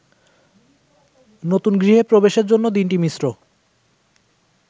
নতুন গৃহে প্রবেশের জন্য দিনটি মিশ্র।